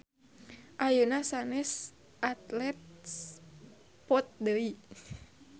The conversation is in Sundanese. Ayeuna sanes Athlete's foot deui